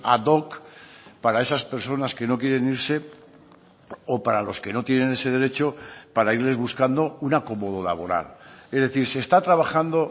ad hoc para esas personas que no quieren irse o para los que no tienen ese derecho para irles buscando un acomodo laboral es decir se está trabajando